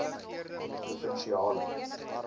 provinsiale